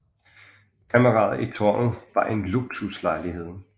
Kammeret i tårnet var en luksuslejlighed